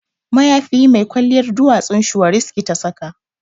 Mayafi mai kwalliyar duwatsun shuwariski ta saka